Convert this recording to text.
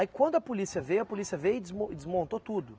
Aí quando a polícia veio, a polícia veio e desmo e desmontou tudo.